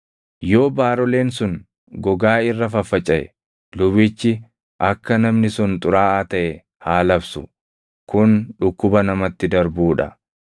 Yoo baaroleen sun gogaa irra faffacaʼe, lubichi akka namni sun xuraaʼaa taʼe haa labsu; kun dhukkuba namatti darbuu dha.